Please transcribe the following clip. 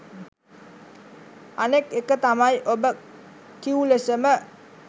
අනෙක් එක තමයි ඔබ කිව් ලෙසම